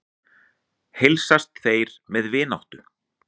Heilsast þeir með vináttu.